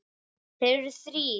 Þeir eru þrír